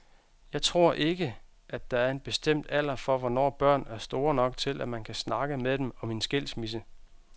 Jeg tror ikke, at der er en bestemt alder for hvornår børn er store nok til at man kan snakke med dem om en skilsmisse.